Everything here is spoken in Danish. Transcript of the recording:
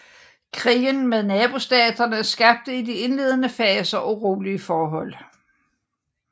Krigen med nabostaterne skabte i de indledende faser urolige forhold